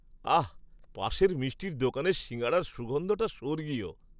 আহ্, পাশের মিষ্টির দোকানের সিঙাড়ার সুগন্ধটা স্বর্গীয়!